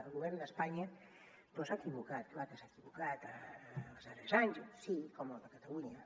el govern d’espanya doncs s’ha equivocat clar que s’ha equivocat els darrers anys sí com el de catalunya